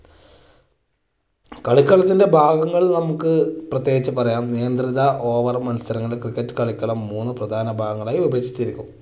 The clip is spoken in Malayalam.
കളിക്കളത്തിന്റെ ഭാഗങ്ങളിൽ നമുക്ക് പ്രത്യേകിച്ച് പറയാം നിയന്ത്രിത over മത്സരങ്ങൾ cricket കളിക്കളം മൂന്ന് പ്രധാന ഭാഗങ്ങളായി വിഭജിച്ചിരിക്കുന്നു.